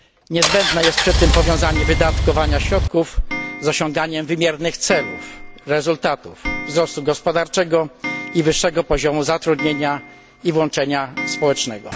Niezbędne jest przy tym powiązanie wydatkowania środków z osiąganiem wymiernych celów, rezultatów wzrostu gospodarczego i wyższego poziomu zatrudnienia i włączenia społecznego.